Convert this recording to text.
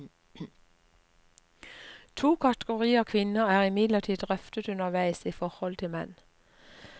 To kategorier kvinner er imidlertid drøftet underveis i forholdet til menn.